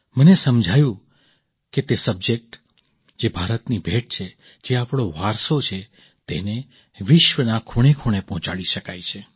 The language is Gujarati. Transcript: મને સમજાયું કે તે સબ્જેક્ટ જે ભારતની ભેટ છે જે આપણો વારસો છે તેને વિશ્વના ખૂણેખૂણે પહોંચાડી શકાય છે